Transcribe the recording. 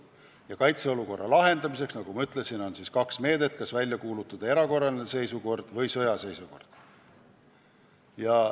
Ja kaitseolukorra lahendamiseks, nagu ma ütlesin, on siis kaks meedet: kas välja kuulutada erakorraline seisukord või sõjaseisukord.